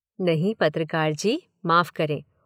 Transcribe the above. नहीं, पत्रकार जी, माफ करें।